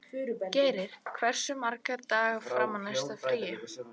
Geiri, hversu margir dagar fram að næsta fríi?